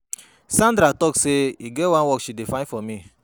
Sandra talk say e get wan work she find for me.